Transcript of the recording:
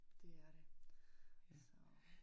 Det er det, så